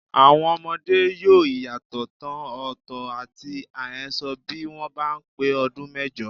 Àwọn ọmọdé yóò̀ ìyàtọ̀ ìtàn òótọ́ àti àhesọ bí wọ́n bá pé ọdún méjọ.